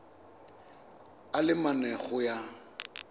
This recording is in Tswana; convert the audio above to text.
a le mane go ya